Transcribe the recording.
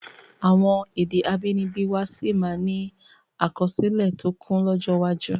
Àwọn èdè abínibí wá sí máa ni àkọsílẹ̀ tó kún lọ́jọ́ iwájú